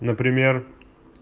например